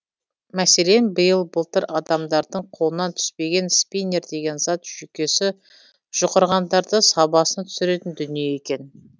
мәселен биыл былтыр адамдардың қолынан түспеген спиннер деген зат жүйкесі жұқарғандарды сабасына түсіретін дүние екен